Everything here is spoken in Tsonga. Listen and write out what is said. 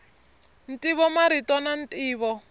ntivo marito na ntivo